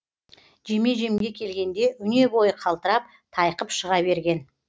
жеме жемге келгенде өне бойы қалтырап тайқып шыға берген